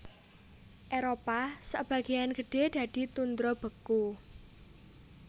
Éropah sabagéyan gedhé dadi tundra beku